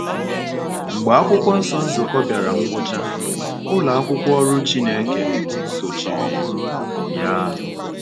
Mgbe Akwụkwọ Nsọ Nzukọ bịara ngwụcha, ụlọ akwụkwọ Ọrụ Chineke sochiri ya.